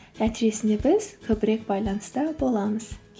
нәтижесінде біз көбірек байланыста боламыз